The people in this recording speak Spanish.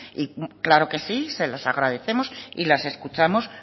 claro que sí se las agradecemos y las escuchamos